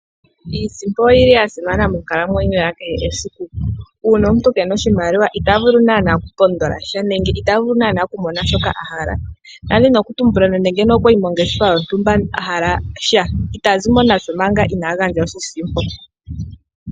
Iisimo oyili ya simana monkalamweyo ya kehe esiku. Uuna omuntu kena oshimaliwa ita vulu naana okupondola sha, nenge ita vulu naana ku mona shoka a hala. Ndali ndina okutumbula nando okwayi mongeshefa yontumba a hala sha, ita zi mo nasho manga ina gandja oshisimpo.